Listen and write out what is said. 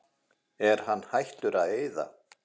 Er hann hættur að eyða?